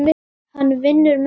Hann vinnur með mér.